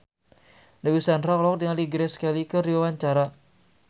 Dewi Sandra olohok ningali Grace Kelly keur diwawancara